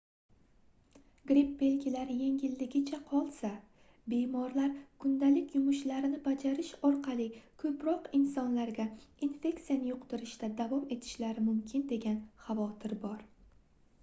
gripp belgilari yengilligicha qolsa bemorlar kundalik yumushlarini bajarish orqali koʻproq insonlarga infeksiyani yuqtirishda davom etishlari mumkin degan xavotir bor